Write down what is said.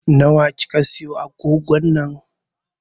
Na wa kika siya agogon nan?